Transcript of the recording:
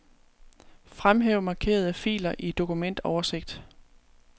Fremhæv markerede filer i dokumentoversigt.